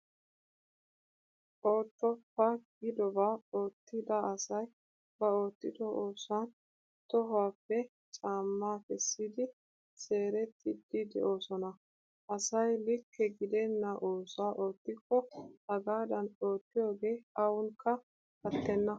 Oottoppa giidobaa oottida asay ba oottido oosuwan tohuwaappe caammaa kessiddi seerettiiddi de'oosona. Asay likke gidenna oosuwa oottikko hagaadan oottiyoogee awnkka attenna.